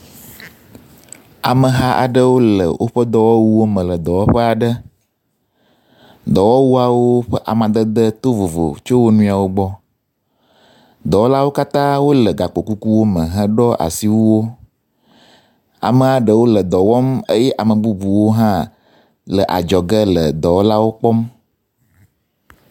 Ameha aɖewo le woƒe dɔwɔwuwo me le dɔwɔƒe. Dɔwɔwuawo ƒe amadede to vovo tso wo nɔwo gbɔ. Dɔwɔlawo katã wo le gakpo kukuwo me heɖo asiwuwo. Amea ɖewo le dɔ wɔm eye ame bubuwo hã le adzɔge le dɔwɔlawo kpɔm.